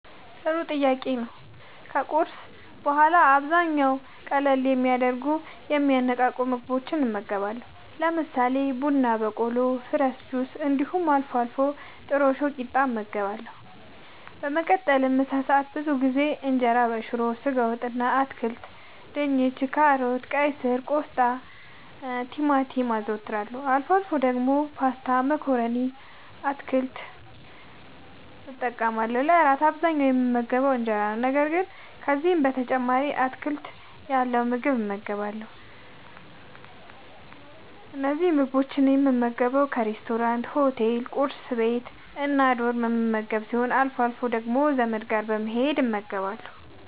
ጥሩ ጥያቄ ነዉ ከቁርስ በኋላ በአብዛኛዉ ቀለል የሚያደርጉና የሚያነቃቁ ምግቦችን እመገባለሁ። ለምሳሌ፦ ቡና በቆሎ፣ ፍረሽ ጁሶች እንዲሁም አልፎ አልፎ ጥረሾ ቂጣ እመገባለሁ። በመቀጠልም ለምሳ ብዙ ጊዜ እንጀራበሽሮ፣ በስጋ ወጥ እና በአትክልት( ድንች፣ ካሮት፣ ቀይስር፣ ቆስጣናቲማቲም) አዘወትራለሁ። አልፎ አልፎ ደግሞ ፓስታ መኮረኒ እና አትክልት እጠቀማለሁ። ለእራት በአብዛኛዉ የምመገበዉ እንጀራ ነዉ። ነገር ግን ከዚህም በተጨማሪ አትክልት ያለዉ ምግብ እመገባለሁ። እነዚህን ምግቦች የምመገበዉ ካፌናሬስቶራንት፣ ሆቴል፣ ቁርስ ቤት፣ እና ዶርም የምመገብ ሲሆን አልፎ አልፎ ደግሞ ዘመድ ጋር በመሄድ እመገባለሁ።